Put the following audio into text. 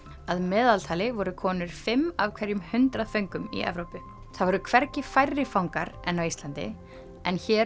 að meðaltali voru konur fimm af hverjum hundrað föngum í Evrópu það voru hvergi færri fangar en á Íslandi en hér